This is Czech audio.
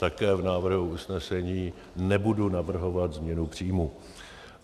Také v návrhu usnesení nebudu navrhovat změnu příjmů.